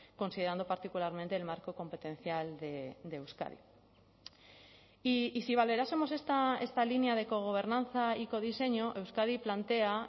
considerando particularmente el marco competencial de euskadi y si valorásemos esta línea de cogobernanza y codiseño euskadi plantea